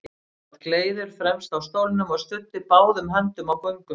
Hann sat gleiður fremst á stólnum og studdi báðum höndum á göngustaf.